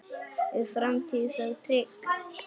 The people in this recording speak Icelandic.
Er framtíð þá trygg?